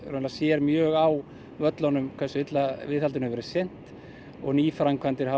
sér mjög á völlunum hversu illa viðhaldinu hefur verið sinnt og nýframkvæmdir hafa